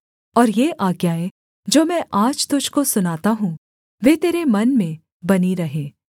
और ये आज्ञाएँ जो मैं आज तुझको सुनाता हूँ वे तेरे मन में बनी रहें